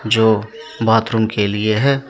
जो बाथरूम के लिए है।